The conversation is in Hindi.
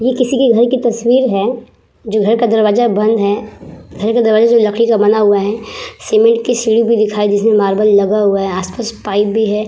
ये किसी की घर की तस्वीर है जो घर का दरवाज़ा बंद है। घर का दरवाजा जो है लकड़ी का बना हुआ है। सीमेंट की सीढ़ी भी दिखाई दे रही है जिसमें मार्बल लगा हुआ है। आस-पास पाइप भी है।